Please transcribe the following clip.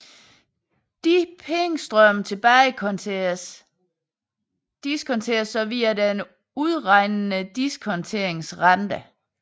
Disse pengestrømme tilbagediskonteres så via den udregnede diskonteringsrente